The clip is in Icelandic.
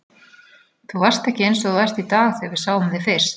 Þú varst ekki eins og þú ert í dag þegar við sáum þig fyrst.